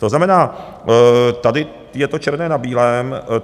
To znamená, tady je to černé na bílém.